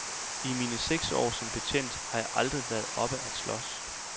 I mine seks år som betjent har jeg aldrig været oppe at slås.